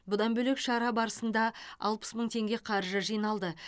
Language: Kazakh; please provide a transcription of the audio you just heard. бұдан бөлек шара барысында алпыс мың теңге қаржы жиналды